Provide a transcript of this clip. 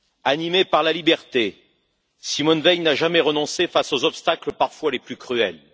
Animée par la liberté, Simone Veil n'a jamais renoncé face aux obstacles parfois les plus cruels.